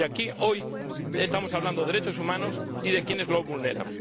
Y aquí, hoy, estamos hablando de derechos humanos y de quienes los vulneran.